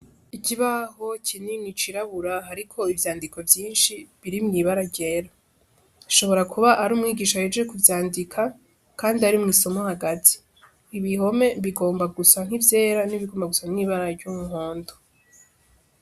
Ikibaho kinini cirabura, ariko ivyandiko vyinshi biri mw'ibara ryera ashobora kuba ari umwigisha yeje kuvyandika, kandi ari mw'isomo hagazi ibihome bigomba gusa nk'ivyera n'ibigomba gusa mw'ibara ry'unkondo.